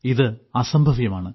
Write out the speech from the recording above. ഇത് അസംഭവ്യമാണ്